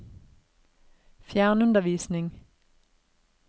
fjernundervisning